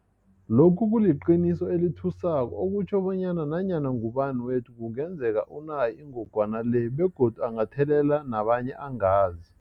Lokhu kuliqiniso elithusako okutjho bonyana nanyana ngubani wethu kungenzeka unayo ingogwana le begodu angathelela nabanye angazi.